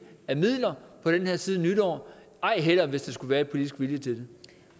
af midler på den her side af nytår ej heller hvis der skulle være politisk vilje til